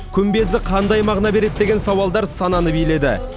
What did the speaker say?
күмбезі қандай мағына береді деген сауалдар сананы биледі